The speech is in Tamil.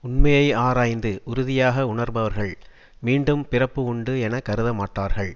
உண்மையை ஆராய்ந்து உறுதியாக உணர்பவர்கள் மீண்டும் பிறப்பு உண்டு என கருத மாட்டார்கள்